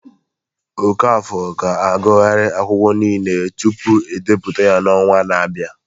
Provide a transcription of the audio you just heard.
Okafor ga-agụgharị akụkọ niile tupu ebipụta ya n'ọnwa na-abịa